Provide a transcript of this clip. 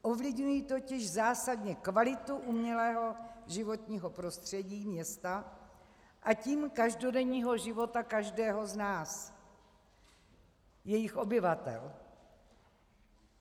Ovlivňují totiž zásadně kvalitu umělého životního prostředí, města, a tím každodenního života každého z nás, jejich obyvatel.